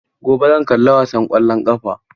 Gobe zan kalla wasan ƙwallon ƙafa.